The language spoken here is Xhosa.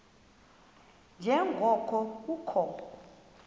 nje ngoko kukho